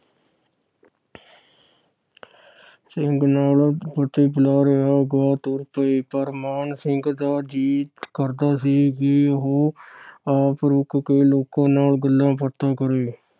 ਸਿੰਘ ਨਾਲ ਫਤਹ ਬੁਲਾ ਰਿਹਾ ਅਗਾਹ ਤੁਰ ਪਏ ਪਰ ਮਾਣ ਸਿੰਘ ਦਾ ਜੀ ਕਰਦਾ ਸੀ ਕਿ ਉਹ ਆਪ ਰੁਕ ਕੇ ਲੋਕਾਂ ਨਾਲ ਗੱਲਾ ਬਾਤਾਂ ਕਰੇ।